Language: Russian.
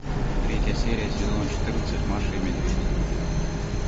третья серия сезона четырнадцать маша и медведь